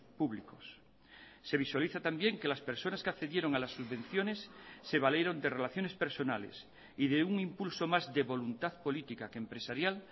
públicos se visualiza también que las personas que accedieron a las subvenciones se valieron de relaciones personales y de un impulso más de voluntad política que empresarial